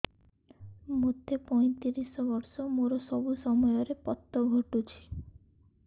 ମୋତେ ପଇଂତିରିଶ ବର୍ଷ ମୋର ସବୁ ସମୟରେ ପତ ଘଟୁଛି